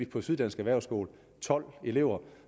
på syddansk erhvervsskole tolv elever